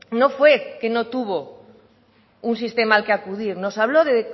no fue que no tuvo un sistema al que acudir nos habló de